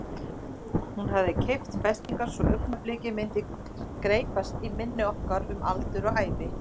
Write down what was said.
Hún hafði keypt festarnar svo augnablikið myndi greypast í minni okkar um aldur og ævi.